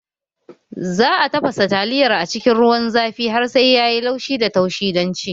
Za a tafasa taliyar a cikin ruwan zafi har sai ya yi laushi da taushi don ci